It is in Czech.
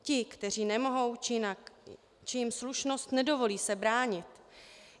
Ti, kteří nemohou, či jim slušnost nedovolí se bránit.